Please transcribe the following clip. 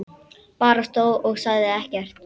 Bara stóð og sagði ekkert.